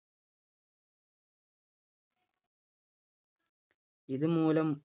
ഇത് മൂലം